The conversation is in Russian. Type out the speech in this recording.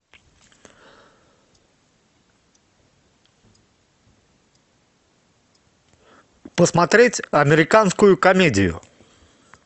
посмотреть американскую комедию